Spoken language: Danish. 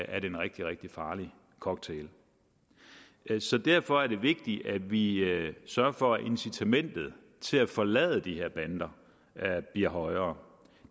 er det en rigtig rigtig farlig cocktail derfor er det vigtigt at vi sørger for at incitamentet til at forlade de her bander bliver højere